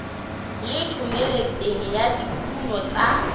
le thomeloteng ya dikuno tsa